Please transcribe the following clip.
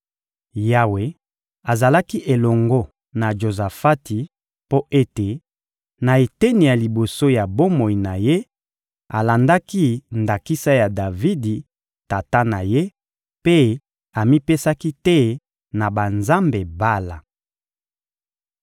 Yawe azalaki elongo na Jozafati mpo ete, na eteni ya liboso ya bomoi na ye, alandaki ndakisa ya Davidi, tata na ye, mpe amipesaki te na banzambe Bala.